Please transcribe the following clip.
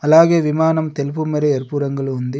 అలాగే విమానం తెలుపు మరి ఎరుపు రంగులో ఉంది.